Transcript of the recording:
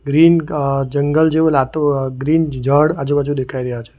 Green અહ જંગલ જેવું લાગતું અહ ગ્રીન જાડ આજુબાજુ દેખાય રહ્યા છે.